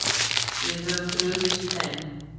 Við höfum brugðist þeim.